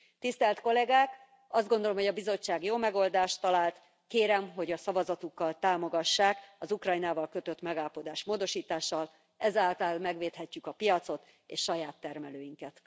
Tisztelt Kollégák, azt gondolom, hogy a Bizottság jó megoldást talált, kérem, hogy a szavazatukkal támogassák az Ukrajnával kötött megállapodás módosítását, ezáltal megvédhetjük a piacot és saját termelőinket.